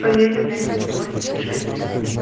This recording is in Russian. поедем ленина сто восемь десять шесть